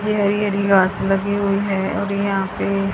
ये हरी हरी घास लगी हुई है और यहां पे--